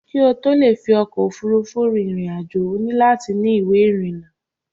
kí ó tó le fi ọkò òfurufú rin ìrìn àjò, ó nílò láti ni ìwé ìrìnà